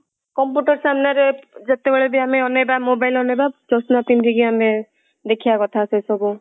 computer ସାମ୍ନା ରେ ଯେତେବେଳେ ବି ଆମେ ଅନେଇବା mobile ଅନେଇବା ଚଷମା ପିନ୍ଧିକି ଆମେ ଦେଖିବା କଥା ସେ ସବୁ